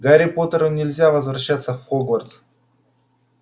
гарри поттеру нельзя возвращаться в хогвартс